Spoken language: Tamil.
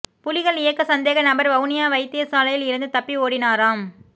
புலிகள் இயக்க சந்தேக நபர் வவுனியா வைத்தியசாலையில் இருந்து தப்பி ஓடினாராம்